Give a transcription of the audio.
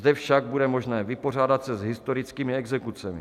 Zde však bude možné vypořádat se s historickými exekucemi.